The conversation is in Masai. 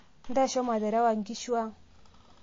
ntasho materewa inkushu ang